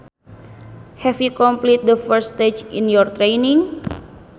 Have you completed the first stage in your training